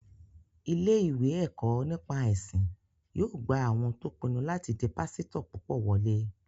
Ilé-ìwé ẹ̀kọ́ nípa ẹ̀sìn yóò gba àwọn tó pinnu láti di pásítọ̀ púpọ̀ wọlé